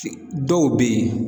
Si dɔw be yen